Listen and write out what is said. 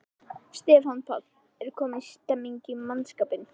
Stefán Páll: Er komin stemning í mannskapinn?